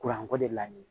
Kuranko de laɲini